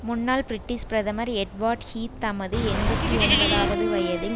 முன்னாள் பிரிட்டிஷ் பிரதமர் Edward Heath தமது எண்பத்தி ஒன்பதுஆவது வயதில்